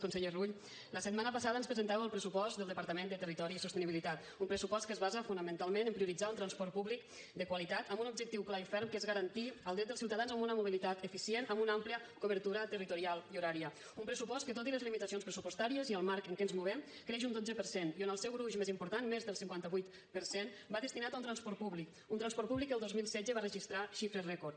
conseller rull la setmana passada ens presentava el pressupost del departament de territori i sostenibilitat un pressupost que es basa fonamentalment en prioritzar un transport públic de qualitat amb un objectiu clar i ferm que és garantir el dret dels ciutadans a una mobilitat eficient amb una àmplia cobertura territorial i horària un pressupost que tot i les limitacions pressupostàries i el marc en què ens movem creix un dotze per cent i on el seu gruix més important més del cinquanta vuit per cent va destinat a un transport públic un transport públic que el dos mil setze va registrar xifres rècord